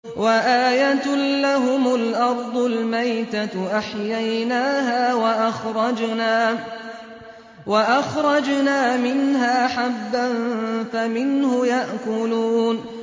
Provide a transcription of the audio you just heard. وَآيَةٌ لَّهُمُ الْأَرْضُ الْمَيْتَةُ أَحْيَيْنَاهَا وَأَخْرَجْنَا مِنْهَا حَبًّا فَمِنْهُ يَأْكُلُونَ